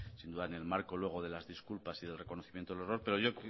sin duda en el marco luego de las disculpas y del reconocimiento del error pero yo